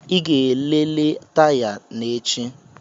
Ị ga-elele taya na echi.